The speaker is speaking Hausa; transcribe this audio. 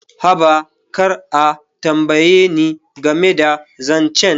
Haba, kar a tambaye ni game da zance.